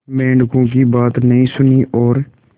मेंढकों की बात नहीं सुनी और